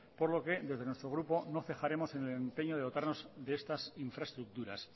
por lo que desde nuestro grupo no cejaremos en el empeño de dotarnos de estas infraestructuras